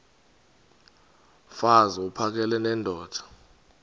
mfaz uphakele nendoda